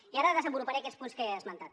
i ara desenvoluparé aquests punts que he esmentat